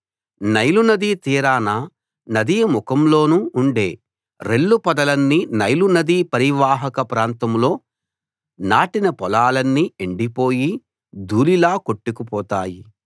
నైలునదీ తీరాన నదీ ముఖంలోనూ ఉండే రెల్లు పొదలన్నీ నైలు నదీ పరీవాహక ప్రాంతంలో నాటిన పొలాలన్నీ ఎండిపోయి దూళిలా కొట్టుకు పోతాయి